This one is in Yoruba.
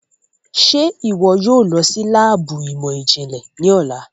Ṣe iwọ yóò lọ si laabu imọ-jinlẹ ni ọla?